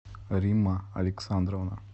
римма александровна